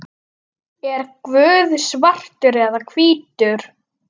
Er Guð svartur eða hvítur?